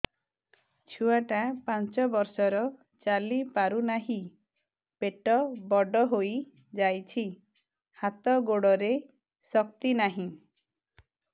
ଛୁଆଟା ପାଞ୍ଚ ବର୍ଷର ଚାଲି ପାରୁ ନାହି ପେଟ ବଡ଼ ହୋଇ ଯାଇଛି ହାତ ଗୋଡ଼ରେ ଶକ୍ତି ନାହିଁ